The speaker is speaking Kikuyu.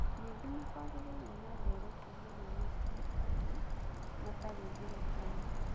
Ningĩ nĩ kwagĩire na ndeereti hamwe na andũ angĩ matarĩ thirikari.